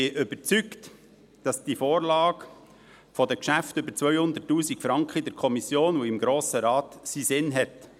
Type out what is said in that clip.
Ich bin überzeugt, dass die Vorlage der Geschäfte über 200’000 Franken in der Kommission und im Grossen Rat einen Sinn hat.